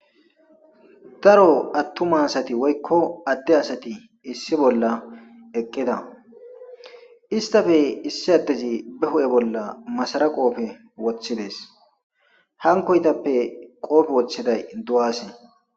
Aaro attuma asati woykko adde asati issi bolla eqqeda istafe issi addezi be hu'e bolla masara qoofe woththidees hankoytappe qoofe wocheday du'asi.